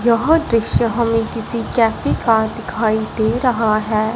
यह दृश्य हमें किसी कैफे का दिखाई दे रहा है।